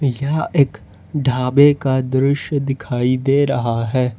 यह एक ढाबे का दृश्य दिखाई दे रहा है।